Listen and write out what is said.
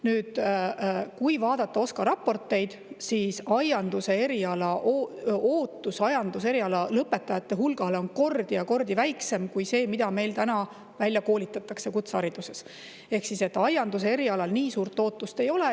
Nüüd, kui vaadata OSKA raporteid, siis ootus aianduse eriala lõpetajate hulgale on kordi ja kordi väiksem kui see, mis meil praegu välja koolitatakse kutsehariduses, ehk aianduse erialal nii suurt ootust ei ole.